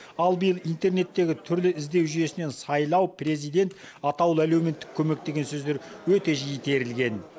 ал биыл интернеттегі түрлі іздеу жүйесінен сайлау президент атаулы әлеуметтік көмек деген сөздер өте жиі терілген